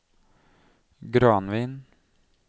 Granvin